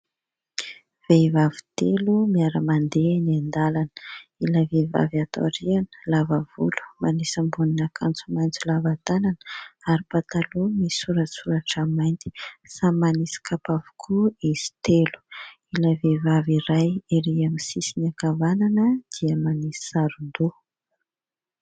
Vehivavy telo miara-mandeha eny an-dalana, ilay vehivavy ato ariana lava volo, manisy ambonin'ny akanjo maintso lava tanana ary mipataloha misoratrosoratra mainty. Samy manisy kapa avokoa izy telo, ilay vehivavy iray eo amin'ny sisiny ankavanana dia manisy saron-doha.